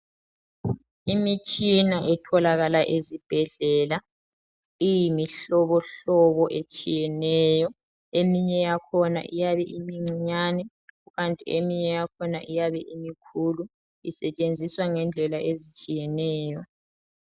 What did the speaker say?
imitshina etholakala ezibhedlela iyimihlobohlobo etshiyetshiyeneyo eminye yakhona iyabe imincinyane kukanti eminye yakhona iyabe imikhulu isetshenziswa ngendlela ezitshiyeneyo